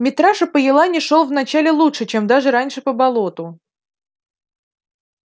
митраша по елани шёл вначале лучше чем даже раньше по болоту